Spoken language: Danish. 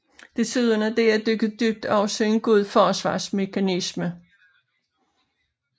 Desuden er det at dykke dybt også en god forsvarsmekanisme